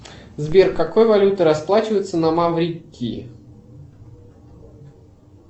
сбер какой валютой расплачиваются на маврикии